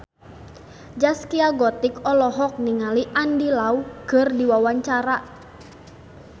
Zaskia Gotik olohok ningali Andy Lau keur diwawancara